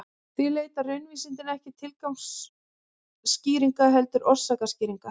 Því leita raunvísindin ekki tilgangsskýringa heldur orsakaskýringa.